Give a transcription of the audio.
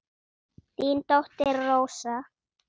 Þín dóttir Rósa.